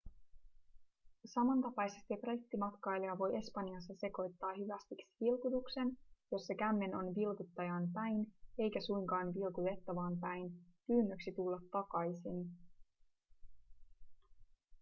samantapaisesti brittimatkailija voi espanjassa sekoittaa hyvästiksi vilkutuksen jossa kämmen on ‎vilkuttajaan päin eikä suinkaan vilkutettavaan päin pyynnöksi tulla takaisin.‎